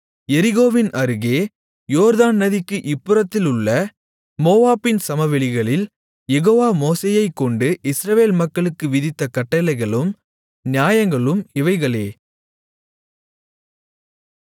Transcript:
எரிகோவின் அருகே யோர்தான் நதிக்கு இப்புறத்திலுள்ள மோவாபின் சமவெளிகளில் யெகோவா மோசேயைக் கொண்டு இஸ்ரவேல் மக்களுக்கு விதித்த கட்டளைகளும் நியாயங்களும் இவைகளே